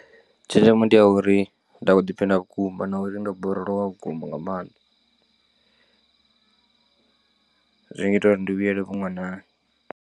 Tshenzhemo ndi ya uri nda khou ḓiphina vhukuma na uri ndo borolowa vhukuma nga maanḓa, zwi ngita uri ndi vhuyelele vhuṅwanani.